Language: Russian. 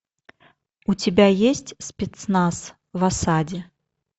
у тебя есть спецназ в осаде